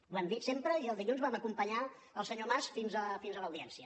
ho hem dit sempre i el dilluns vam acompanyar el senyor mas fins a l’audiència